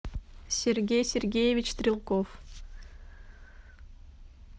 сергей сергеевич стрелков